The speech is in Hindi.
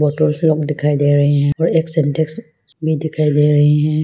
लोग दिखाई दे रहे हैं और एक सिंटेक्स भी दिखाई दे रहे हैं।